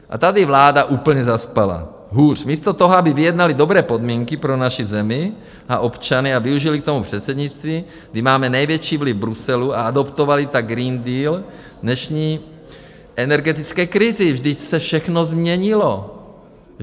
A tady vláda úplně zaspala - hůř, místo toho, aby vyjednali dobré podmínky pro naši zemi a občany a využili k tomu předsednictví, kdy máme největší vliv v Bruselu, a adaptovali tak Green Deal dnešní energetické krizi - vždyť se všechno změnilo!